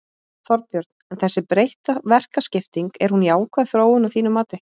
Þorbjörn: En þessi breytta verkaskipting, er hún jákvæð þróun að þínu mati?